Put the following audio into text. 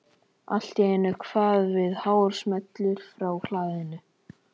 Allt í einu kvað við hár smellur frá hlaðinu.